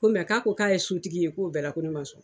Ko k'a ko k'a ye sotigi ye, k'o bɛɛ la, ko ne ma sɔn